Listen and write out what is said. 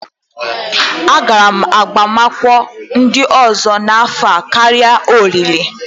Agara m agbamakwụkwọ ndị ọzọ n'afọ a karịa olili